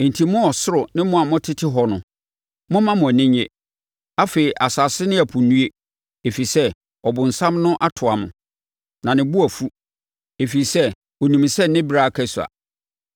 Enti, mo ɔsoro ne mo a motete hɔ no, momma mo ani nnye. Afei, asase ne ɛpo nnue! Ɛfiri sɛ, ɔbonsam no atoa mo! Na ne bo afu, ɛfiri sɛ, ɔnim sɛ ne ɛberɛ a aka sua.”